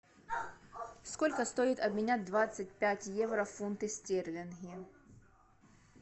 сколько стоит обменять двадцать пять евро в фунты стерлинги